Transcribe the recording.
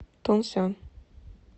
тунсян